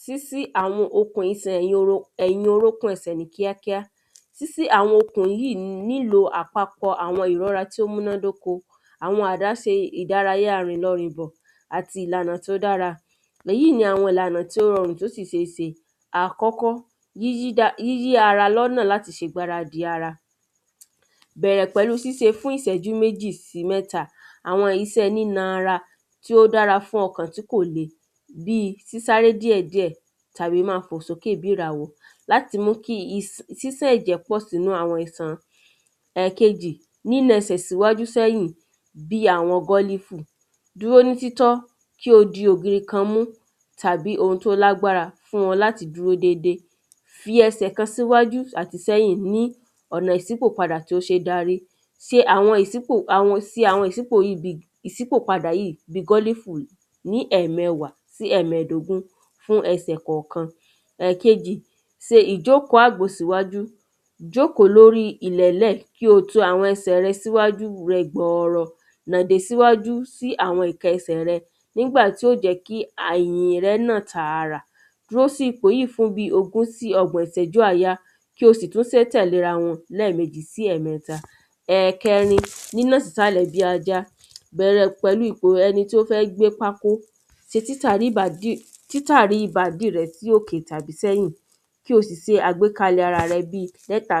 Sísí àwọn okùn isẹ̀ ìyoro tí ẹ̀yin orúkún ẹsẹ̀ ní kíá kíá sísí àwọn okùn yìí nílò àpapọ̀ ìmúra tó múná dóko àwọn àdáse ìdárayá rìnlọ rìnbò àti ìlànà tí ó dára èyí ni àwọn ìlànà tí ó rọrùn tí ó sì sé se. Àkọ́kọ́ ni yíyí ara lọ́nà láti ṣe ìgbáradì ara bẹ̀rẹ̀ pẹ̀lú síse fún ìsẹ́jú méjì sí mẹ́ta àwọn isẹ́ nína ara tí ó dára fún ọkàn tí kò le àti bí sísáré díẹ̀ díẹ̀ tàbí má fò sókè bí ràwé láti mú kí sídẹ́ ẹ̀jẹ̀ pọ̀ sínú àwọn isan. Ẹ̀kejì nína ẹsẹ̀ síwájú sẹ́yìn bí àwọn gọ́lífù dúró ní títọ́ kí o di ògùn ikan mú tàbí ohun tí ó lágbára fún ọ láti dúró dédé ti ẹsẹ̀ kan síwájú àti sí ẹ̀yìn ní ọ̀nà ìsípọ̀ padà tí ó sé darí se àwọn ìsípò se àwọn ìsípò padà yìí gọ́lífù ní ẹ̀mẹwàá sí ẹ̀mẹdógún ní ẹsè kọ̀kan se ìjókòó àgbò síwájú jókòó lórí àwọn ilẹ̀lẹ́ẹ̀ kí o to àwọn ẹsẹ̀ rẹ níwájú ilẹ̀ gbọrọ lọbi síwájú sí àwọn ẹsẹ̀ rẹ yóò jẹ́ kí àyè rẹ nà tàrà dúró sí ipò yìí fún bí ogún sí ọgbọ̀n ìsẹ́jú àáyá kí o sì tún sé tẹ̀lé ra wọn lẹ́mèjì sí ẹ̀mẹta Ẹ̀kẹrin nínà sísàlẹ̀ bí ada bẹ̀rẹ̀ pẹ̀lú ipò ẹni tí ó fẹ́ gbé pákó se títàdí rẹ títárí ìbàdí rẹ sí òkè tàbí sẹ́yìn kó o sì se àgbékalẹ̀ ara rẹ bí mẹ́ta